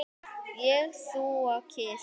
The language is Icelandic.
Ég, þú og kisi.